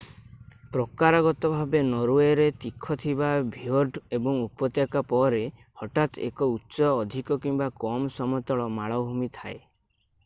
ପ୍ରକାରଗତ ଭାବେ ନରୱେରେ ତୀଖ ଥିବା ଫିଓର୍ଡ ଏବଂ ଉପତ୍ୟକା ପରେ ହଠାତ୍ ଏକ ଉଚ୍ଚ ଅଧିକ କିମ୍ବା କମ୍ ସମତଳ ମାଳଭୂମି ଥାଏ